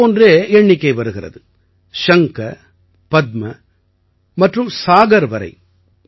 இதைப் போன்றே எண்ணிக்கை வருகிறது சங்க பத்ம மற்றும் சாகர் வரை